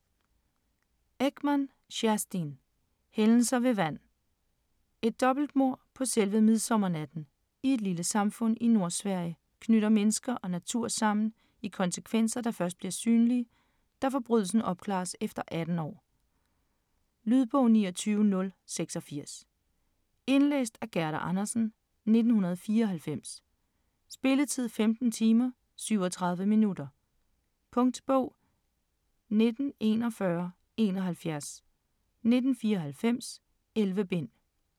Ekman, Kerstin: Hændelser ved vand Et dobbeltmord på selve midsommernatten i et lille samfund i Nordsverige knytter mennesker og natur sammen i konsekvenser, der først bliver synlige, da forbrydelsen opklares efter 18 år. Lydbog 29086 Indlæst af Gerda Andersen, 1994. Spilletid: 15 timer, 37 minutter. Punktbog 194171 1994. 11 bind.